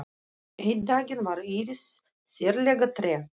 Einn daginn var Íris sérlega treg.